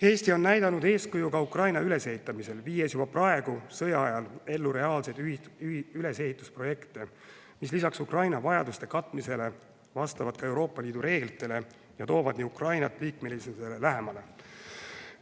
Eesti on näidanud eeskuju ka Ukraina ülesehitamisel, viies juba praegu, sõja ajal ellu reaalseid ülesehitusprojekte, mis lisaks Ukraina vajaduste katmisele vastavad ka Euroopa Liidu reeglitele ja toovad nii Ukrainat liikmelisusele lähemale.